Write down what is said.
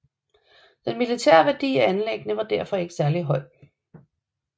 Den militære værdi af anlæggene var derfor ikke særlig høj